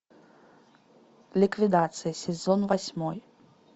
ликвидация сезон восьмой